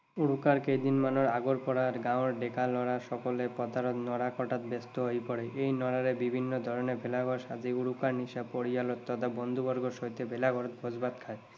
উৰুকাৰ কেইদিনমানৰ আগৰ পৰাই গাঁৱৰ ডেকা লৰা সকলে পথাৰৰ নৰা কটাত ব্যস্ত হৈ পৰে। এই নৰাৰে বিভিন্ন ধৰণেৰে ভেলা ঘৰ সাজি উৰুকাৰ নিশা পৰিয়াল তথা বন্ধু বৰ্গৰ সৈতে ভেলা ঘৰত ভোজ ভাত খায়।